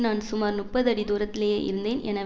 நான் சுமார் முப்பது அடி தூரத்திலேயே இருந்தேன் என